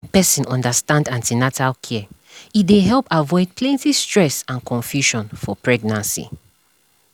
when person understand an ten atal care e dey help avoid plenty stress and confusion for pregnancy